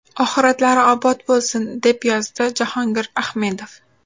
Oxiratlari obod bo‘lsin!”, deb yozdi Jahongir Ahmedov.